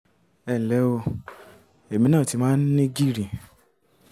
ẹ nlẹ́ o èmi náà ti máa ń ní gìrì